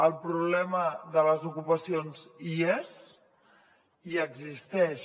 el problema de les ocupacions hi és i existeix